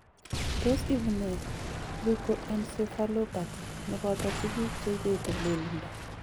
Tos ibu nee Leukoencephalopathy neboto tukuk cheibete lelindo?